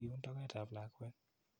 Iun toket ap lakwet.